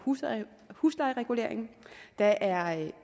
huslejereguleringen der er